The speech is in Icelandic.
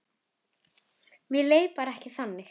Mér leið bara ekki þannig.